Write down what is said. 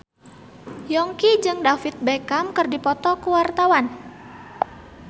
Yongki jeung David Beckham keur dipoto ku wartawan